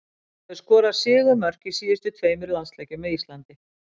Hann hefur skorað sigurmörk í síðustu tveimur landsleikjum með Ísland.